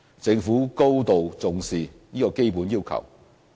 政府高度重視這基本要求。